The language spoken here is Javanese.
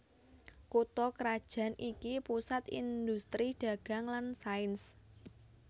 Kutha krajan iki pusat indhustri dagang lan sains